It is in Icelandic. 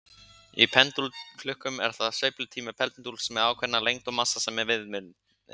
Í pendúlklukkum er það sveiflutími pendúls með ákveðna lengd og massa sem er viðmiðunin.